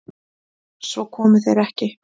Svo komu þeir ekki.